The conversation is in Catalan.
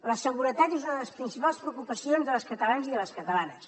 la seguretat és una de les principals preocupacions dels catalans i de les catalanes